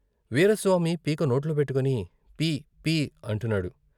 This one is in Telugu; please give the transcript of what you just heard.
వీరాస్వామి పీక నోట్లో పెట్టుకొని పీ పీ అంటున్నాడు.